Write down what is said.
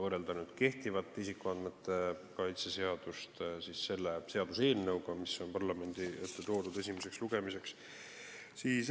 Võrdleme kehtivat isikuandmete kaitse seadust selle seaduseelnõuga, mis on parlamendi ette esimeseks lugemiseks toodud.